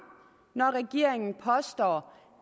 når regeringen påstår